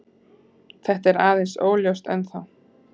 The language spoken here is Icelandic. Þetta er aðeins óljóst ennþá.